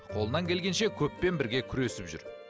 қолынан келгенше көппен бірге күресіп жүр